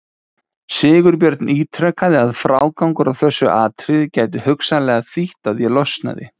Ekki var heldur hirt um að mýla það af því skepnan var þæg og hlýðin.